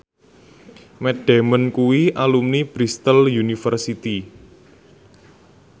Matt Damon kuwi alumni Bristol university